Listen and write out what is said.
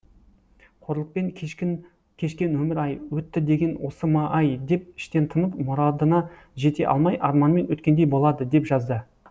қорлықпен кешкен өмір ай өтті деген осы ма ай деп іштен тынып мұрадына жете алмай арманмен өткендей болады деп жазды